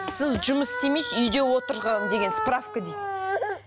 сіз жұмыс істемейсіз үйде отырған деген справка дейді